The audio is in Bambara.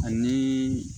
Ani